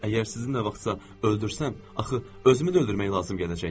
Əgər sizin nə vaxtsa öldürsəm, axı özümü də öldürmək lazım gələcək.